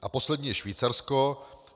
A poslední je Švýcarsko.